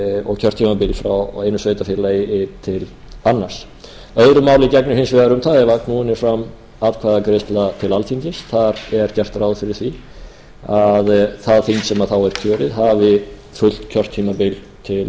og kjörtímabil frá einu sveitarfélagi til annars öðru máli gegnir hins vegar um það ef knúin er fram atkvæðagreiðsla til alþingis þar er gert ráð fyrir því að það þing sem þá er kjörið hafi fullt kjörtímabil til setu fjögur